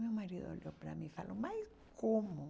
Meu marido olhou para mim e falou, mas como?